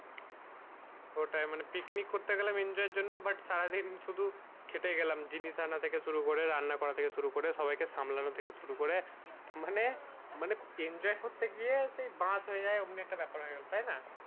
ওটাই মানে picnic করতে গেলাম enjoy এর জন্য but সারা দিন শুধু খেটে গেলাম জিনিস আনা থেকে শুরে করে রান্না করা থেকে শুরু করে থেকে সবাই কে সামলানো থেকে শুরু করে মানে মানে enjoy করতে গিয়ে সেই বাঁশ হয়ে যায় অমনি একটা ব্যাপার হয়ে গেলো তাই না